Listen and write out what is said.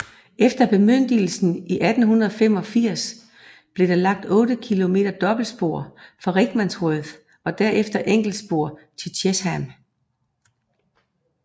Efter bemyndigelse i 1885 blev der lagt 8 km dobbeltspor fra Rickmansworth og derefter enkeltspor til Chesham